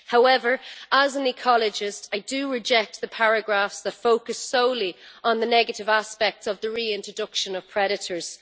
However, as an ecologist, I reject the paragraphs that focus solely on the negative aspects of the reintroduction of predators.